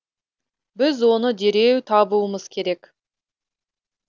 біз оны дереу табуымыз керек